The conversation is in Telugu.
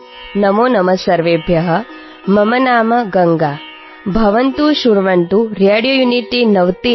నమోనమః సర్వేభ్యః మమ నామ గంగా భవంతః శృణ్వంతు రేడియోయూనిటీ నవతిF